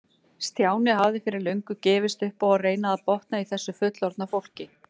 Stjáni hafði fyrir löngu gefist upp á að reyna að botna í þessu fullorðna fólki.